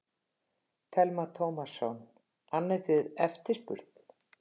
Telma Tómasson: Annið þið eftirspurn?